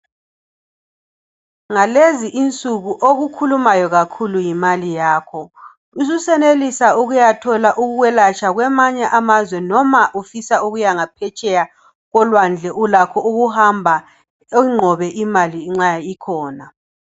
Ngalezi insuku okukhulumayo kakhulu yimali yakho ususenelisa ukuyathola ukwelatshwa kwamanye amazwe noma ufisa ukuya ngaphetsheya kolwandle ulakho ukuhamba ingqobe imali nxa ikhona.